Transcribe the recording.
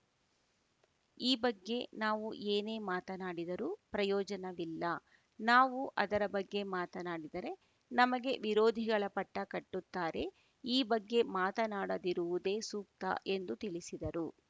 ಈ ಬಗ್ಗೆ ನಾವು ಏನೇ ಮಾತನಾಡಿದರೂ ಪ್ರಯೋಜನವಿಲ್ಲ ನಾವು ಅದರ ಬಗ್ಗೆ ಮಾತನಾಡಿದರೆ ನಮಗೆ ವಿರೋಧಿಗಳ ಪಟ್ಟಕಟ್ಟುತ್ತಾರೆ ಈ ಬಗ್ಗೆ ಮಾತನಾಡದಿರುವುದೇ ಸೂಕ್ತ ಎಂದು ತಿಳಿಸಿದರು